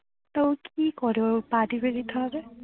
তো কি করে ও পা টিপে দিতে হবে